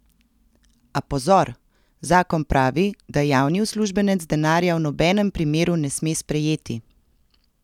A pozor, zakon pravi, da javni uslužbenec denarja v nobenem primeru ne sme sprejeti!